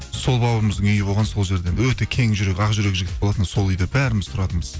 сол бауырымыздың үйі болған сол жерде өте кең жүрек ақ жүрек жігіт болатын сол үйде бәріміз тұратынбыз